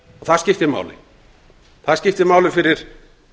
það skiptir máli það skiptir máli fyrir